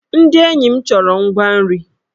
Ndị enyi m chọrọ ngwa nri.